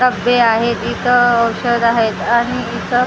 डब्बे आहेत इथं औषध आहेत आणि इथं--